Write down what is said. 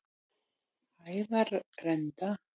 Hæðarenda